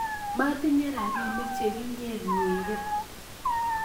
Motinye rapinik che kinyernyere